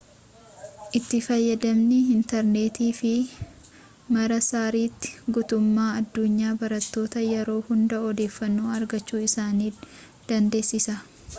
itti fayyadamni intarneetii fi marsariitii guutummaa addunyaa barattoota yeroo hunda odeeffannoo argachuu isaan dandeessisa